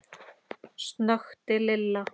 snökti Lilla.